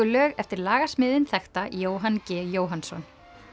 lög eftir þekkta Jóhann g Jóhannsson